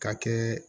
Ka kɛ